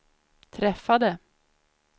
träffade